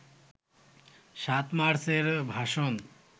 ৭ March এর ভাষণ